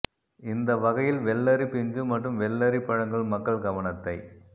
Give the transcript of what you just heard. இந்த வகையில் வெள்ளரி பிஞ்சு மற்றும் வெள்ளெரி பழங்கள் மக்கள் கவனத்தை